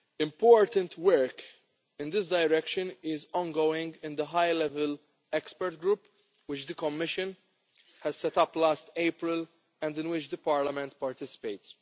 Important work in this direction is ongoing in the high-level expert group which the Commission set up last April and in which the European Parliament participates.